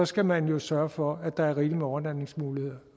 skal man jo sørge for at der er rigeligt med overnatningsmuligheder